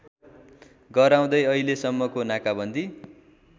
गराउँदै अहिलेसम्मको नाकाबन्दी